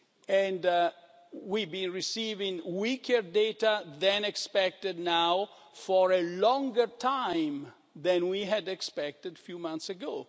And we have been receiving weaker data than expected now for a longer time than we had expected a few months